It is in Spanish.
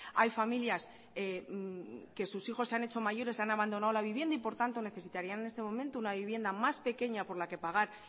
hay familias que sus hijos se han hecho mayores y han abandonado la vivienda y por tanto necesitarían en este momento una vivienda más pequeña por la que pagar